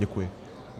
Děkuji.